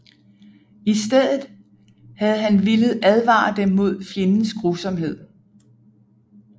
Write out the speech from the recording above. I stedet havde han villet advare dem mod fjendens grusomhed